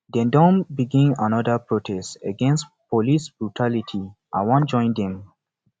dem don begin anoda protest against police brutality i wan join dem